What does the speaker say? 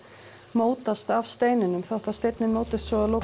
mótast af steininum þótt að steinninn mótist svo